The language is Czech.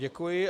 Děkuji.